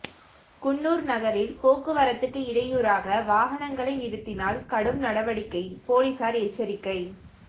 குன்னூர் நகரில் போக்குவரத்துக்கு இடையூறாக வாகனங்களை நிறுத்தினால் கடும் நடவடிக்கை போலீசார் எச்சரிக்கை